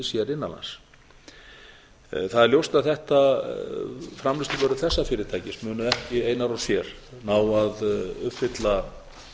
innan lands það er ljóst að framleiðsluvörur þessa fyrirtækis munu ekki einar og sér ná að uppfylla